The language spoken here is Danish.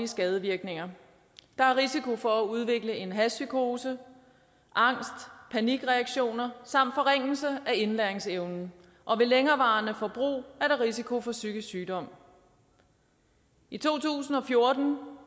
skadevirkninger der er risiko for at udvikle en hashpsykose angst panikreaktioner samt forringelse af indlæringsevnen og ved længerevarende forbrug er der risiko for psykisk sygdom i to tusind og fjorten